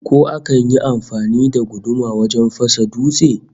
Ko akan yi amfani da guduma wajen fasa dutse?